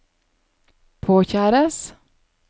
påkjæres